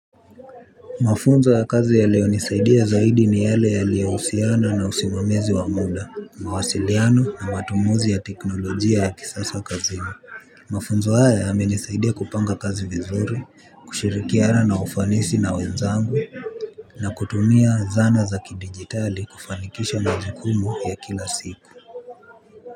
Mafunzo ya kazi yaliyonisaidia zaidi ni yale yaliyohusiana na usimamizi wa muda, mawasiliano na matumuzi ya teknolojia ya kisasa kazini. Mafunzo haya yamenisaidia kupanga kazi vizuri, kushirikiana na ufanisi na wenzangu. Na kutumia zana za kidigitali kufanikisha majukumu ya kila siku.